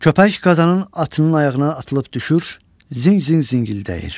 Köpək qazanım atının ayağına atılıb düşür, zing zing zingildəyir.